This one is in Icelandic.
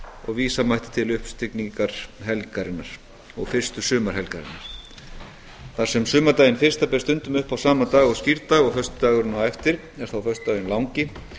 og vísa mætti til uppstigningarhelgarinnar og fyrstu sumarhelgarinnar þar sem sumardaginn fyrsta ber stundum upp á sama dag og skírdag og föstudagurinn á eftir er þá föstudagurinn langi